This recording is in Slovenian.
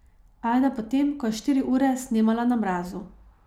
Ajda po tem, ko je štiri ure snemala na mrazu.